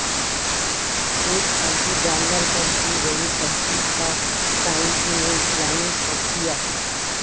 ایک پالتو جانور پر کی گئی تحقیق کا سائنسی و اسلامی تجزیہ